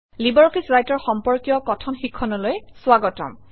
LibreOffice Writer সম্পৰ্কীয় কথন শিক্ষণলৈ স্বাগতম